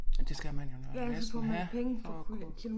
Ja det skal man jo når næsten have for at kunne